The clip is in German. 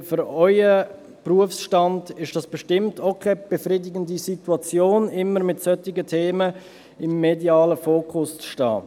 Denn für Ihren Berufsstand ist das bestimmt auch keine befriedigende Situation, immer mit solchen Themen im medialen Fokus zu stehen.